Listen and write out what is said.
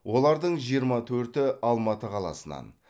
олардың жиырма төрті алматы қаласынан